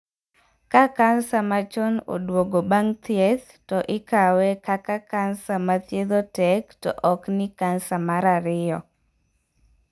Ka kansa machon oduogo bang' thieth to ikawe kaka kansa mathiedho tek to ok ni kansa mar ariyo.